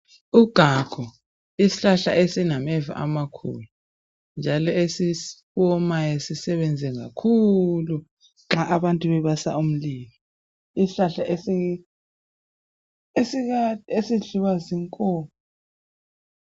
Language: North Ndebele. Ugagu isihlahla esinameva amakhulu njalo esiwomayo sisebenze kakhulu nxa abantu bebasa umlilo, njalo isihlahla esidliwa zinkomo.